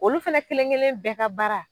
Olu fɛnɛ kelenkelen bɛɛ ka baara